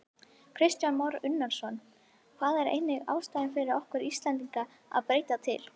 Kristján Már Unnarsson: Það er engin ástæða fyrir okkur Íslendinga að breyta til?